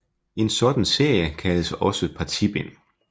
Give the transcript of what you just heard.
En sådan serie kaldes også partibind